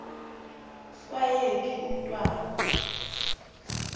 kwaye phi umntwana